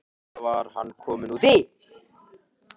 Hvað var hann kominn út í?